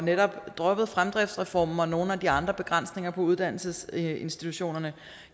netop droppede fremdriftsreformen og nogle af de andre begrænsninger på uddannelsesinstitutionerne